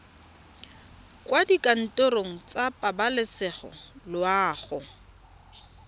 kwa dikantorong tsa pabalesego loago